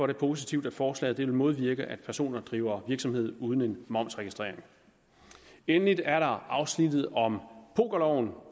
det positivt at forslaget vil modvirke at personer driver virksomhed uden en momsregistrering endelig er der afsnittet om pokerloven